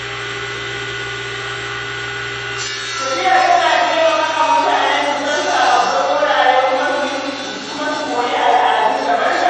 Tafiya tana taimakawa mutane su san sabbin wurare kuma su koyi al'adu daban-daban.